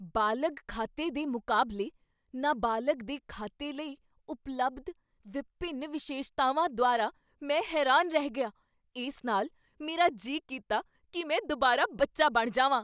ਬਾਲਗ ਖਾਤੇ ਦੇ ਮੁਕਾਬਲੇ ਨਾਬਾਲਗ ਦੇ ਖਾਤੇ ਲਈ ਉਪਲਬਧ ਵਿਭਿੰਨ ਵਿਸ਼ੇਸ਼ਤਾਵਾਂ ਦੁਆਰਾ ਮੈਂ ਹੈਰਾਨ ਰਹਿ ਗਿਆ। ਇਸ ਨਾਲ ਮੇਰਾ ਜੀ ਕੀਤਾ ਕੀ ਮੈਂ ਦੋਬਾਰਾ ਬੱਚਾ ਬਣ ਜਾਵਾਂ।